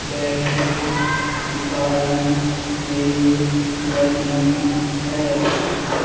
बैठी दिखाई दे रही है।